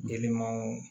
Denmanw